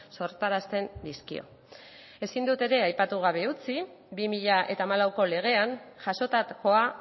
sortarazten dizkio ezin dut ere aipatu gabe utzi bi mila hamalauko legean jasotakoa